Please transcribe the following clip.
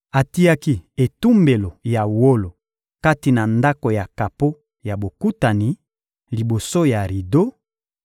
Atiaki etumbelo ya wolo kati na Ndako ya kapo ya Bokutani liboso ya rido,